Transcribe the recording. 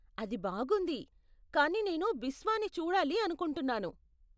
అది బాగుంది, కాని నేను బిస్వాని చూడాలి అనుకుంటున్నాను.